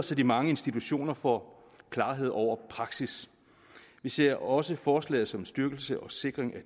så de mange institutioner får klarhed over praksis vi ser også forslaget som en styrkelse og sikring